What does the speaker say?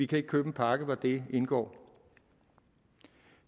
kan købe en pakke hvori de indgår